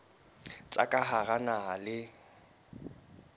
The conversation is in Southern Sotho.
tsa ka hara naha le